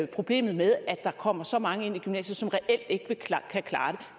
problemet med at der kommer så mange ind i gymnasiet som reelt ikke kan klare